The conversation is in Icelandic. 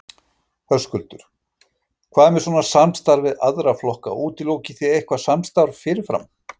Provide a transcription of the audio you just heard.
Höskuldur: Hvað með svona samstarf við aðra flokka, útilokið þið eitthvað samstarf fyrirfram?